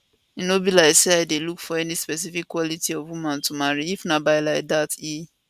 e no be like say i dey look for any specific quality of woman to marry if na by like dat e